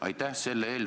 Aitäh!